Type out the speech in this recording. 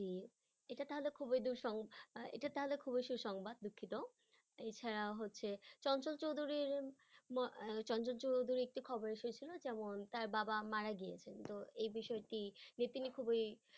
জি এটা তাহলে খুব দুসং আহ এটা তাহলে খুবই সুসংবাদ দুঃখিত এছাড়াও হচ্ছে চঞ্চল চৌধুরীর আহ চঞ্চল চৌধুরী একটি খবরেশ হয়েছিল যেমন তার বাবা মারা গিয়েছে তো এ বিষয়টি যে তিনি খুবই